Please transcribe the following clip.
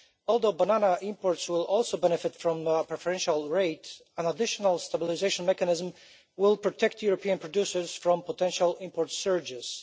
Although banana imports will also benefit from our preferential rate, an additional stabilisation mechanism will protect European producers from potential import surges.